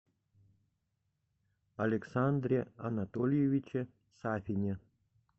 александре анатольевиче сафине